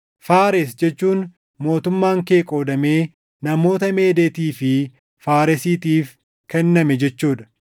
“ Faares jechuun mootummaan kee qoodamee namoota Meedeetii fi Faaresiitiif kenname jechuu dha.”